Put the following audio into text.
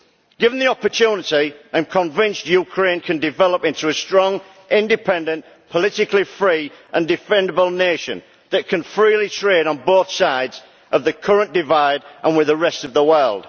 Given the opportunity, I am convinced Ukraine can develop into a strong, independent, politically free, and defendable nation that can freely trade on both sides of the current divide and with the rest of the world.